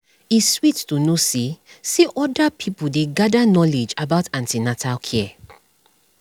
e sweet to know say say other pipo dey gather knowledge about an ten atal care